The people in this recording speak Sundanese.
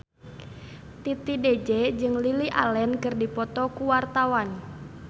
Titi DJ jeung Lily Allen keur dipoto ku wartawan